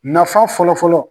Nafa fɔlɔ fɔlɔ.